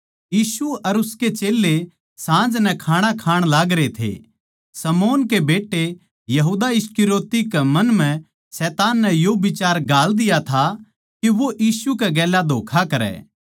यीशु अर उसके चेल्लें साँझ नै खाणा खाण लागरे थे शमौन के बेट्टे यहूदा इस्करियोती के मन म्ह शैतान नै यो बिचार घाल दिया था के वो यीशु कै गेल्या धोक्खा करै